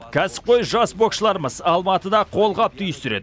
кәсіпқой жас боксшыларымыз алматыда қолғап түйістіреді